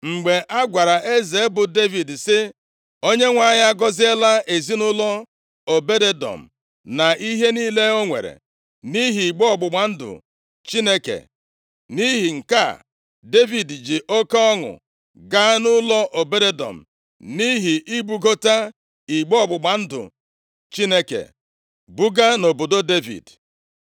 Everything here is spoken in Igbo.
Mgbe a gwara eze bụ Devid si, “ Onyenwe anyị agọziela ezinaụlọ Obed-Edọm na ihe niile o nwere, nʼihi igbe ọgbụgba ndụ Chineke.” Nʼihi nke a, Devid ji oke ọṅụ gaa nʼụlọ Obed-Edọm, nʼihi ibugote igbe ọgbụgba ndụ Chineke, buga nʼobodo Devid.